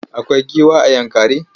Akwai giwa a Yankari?